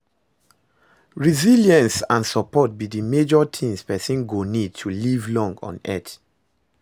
Resilience and support be di major things pesin go need to live long on earth.